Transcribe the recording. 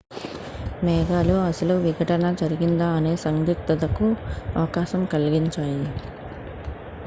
మేఘాలు అసలు విఘటనజరిగిందా అనే సందిగ్ధత కు అవకాశం కలిగించాయి